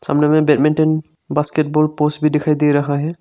सामने में badminton basketball post भी दिखाई दे रहा है।